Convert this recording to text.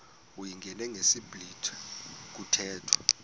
uyingene ngesiblwitha kuthethwa